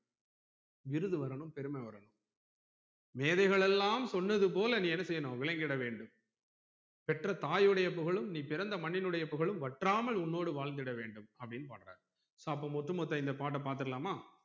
விருது வரணும் பெருமை வரணும் மேதைகளெல்லாம் சொன்னது போல நீ என்ன செய்யணும் விலங்கிட வேண்டும் பெற்ற தாயுடைய புகழும் நீ பிறந்த மண்ணின்னுடைய புகழும் வற்றாமல் உன்னோடு வாழ்ந்திட வேண்டும் அப்டின்னு பாடுறாரு அப்போ ஒட்டு மொத்த இந்த பாட்ட பாத்துடலாமா